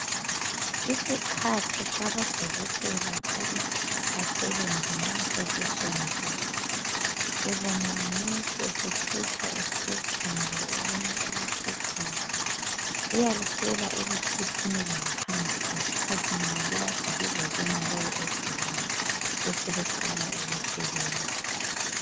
Isikhathi sabodokotela ukuthi basebenze nxa sesisondele, ubona ngonesi esethutsha, efuqa okunye nje okufuqwayo . Uyalicela ukuthi liphumele phandle, nxa kade lizebona lowo ogulayo. Abeseqala ukusebenza.